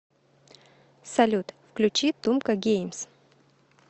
салют включи тумка геймс